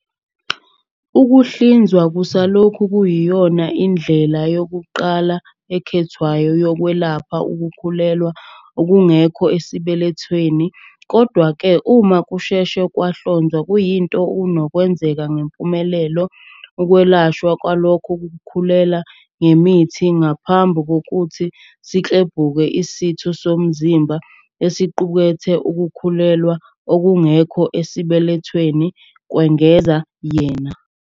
"Ukuhlinzwa kusalokhu kuyiyona ndlela yokuqala ekhethwayo yokwelapha ukukhulelwa okungekho esibelethweni, kodwa-ke uma kusheshe kwahlonzwa kuyinto enokwenzeka ngempumelelo ukwelashwa kwalokhu kukhulelwa ngemithi ngaphambi kokuthi siklebhuke isitho somzimba esiqukethe ukukhulelwa okungekho esibelethweni," kwengeza yena.